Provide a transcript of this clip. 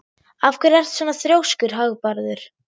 Af hverju ertu svona þrjóskur, Hagbarður?